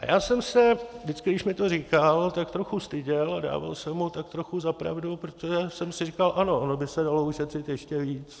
A já jsem se vždycky, když mi to říkal, tak trochu styděl a dával jsem mu tak trochu za pravdu, protože jsem si říkal: Ano, ono by se dalo ušetřit ještě víc.